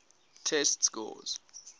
test scores